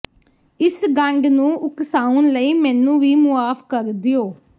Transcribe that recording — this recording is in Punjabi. ਇਸ ਗੰਢ ਨੂੰ ਉਕਸਾਉਣ ਲਈ ਮੈਨੂੰ ਵੀ ਮੁਆਫ ਕਰ ਦਿਉ